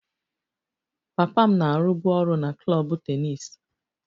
Papa m na-arụbu ọrụ na klọb tennis